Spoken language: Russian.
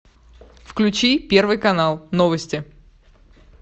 включи первый канал новости